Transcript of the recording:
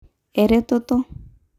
Eretoto.